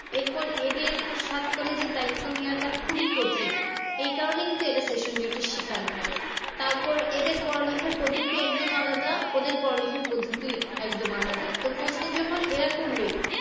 এর পর এদের সাত college এর দায়িত্ব নেওয়াটা খুবই কঠিন। এই কারণে কিন্তু এরা শিকার হয়। তারপর এদের পড়ালেখার পদ্ধতি একদম আলাদা ওদের পড়ালেখার পদ্ধতি একদম আলাদা তো প্রশ্ন যখন এরা করবে